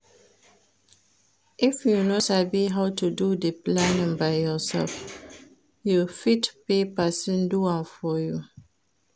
If you no sabi how to do di planning by yourself you fit pay persin do am for you